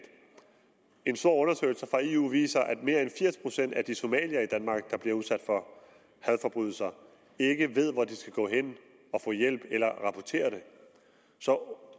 en stor undersøgelse fra eu viser at mere end firs procent af de somaliere i danmark der bliver udsat for hadforbrydelser ikke ved hvor de skal gå hen og få hjælp eller rapportere det så